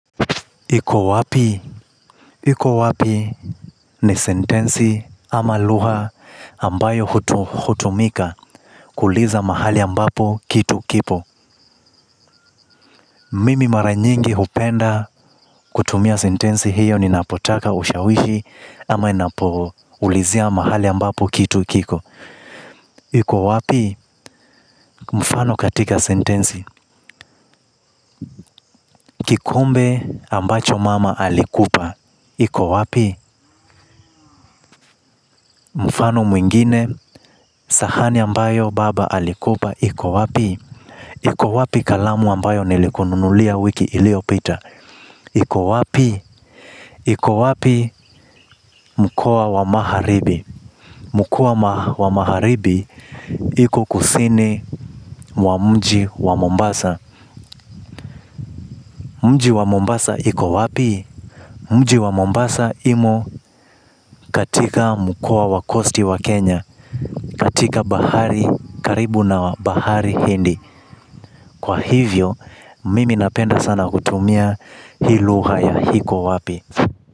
Iko wapi? Iko wapi ni sentensi ama lugha ambayo hutumika kuuliza mahali ambapo kitu kipo. Mimi mara nyingi hupenda kutumia sentensi hiyo ninapotaka ushawishi ama ninapoulizia mahali ambapo kitu kiko. Iko wapi mfano katika sentensi. Kikombe ambacho mama alikupa iko wapi? Mfano mwingine, sahani ambayo baba alikupa iko wapi kalamu ambayo nilikununulia wiki iliyopita? Iko wapi? Iko wapi mkoa wa magharibi. Mkoa wa Magharibi uko kusini mwa mji wa Mombasa. Mji wa Mombasa iko wapi? Mji wa Mombasa umo katika mkoa wa coast ya Kenya, katika bahari, karibu na bahari ya Hindi. Kwa hivyo, mimi napenda sana kutumia hii lugha ya iko wapi.